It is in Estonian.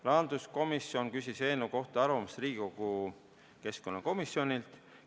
Rahanduskomisjon küsis eelnõu kohta arvamust Riigikogu keskkonnakomisjonilt.